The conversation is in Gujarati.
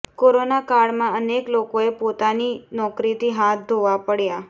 કોરોના કાળમાં અનેક લોકોએ પોતાની નોકરીથી હાથ ધોવા પડ્યા